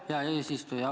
Aitäh, hea eesistuja!